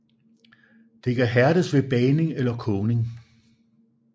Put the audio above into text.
Det kan hærdes ved bagning eller kogning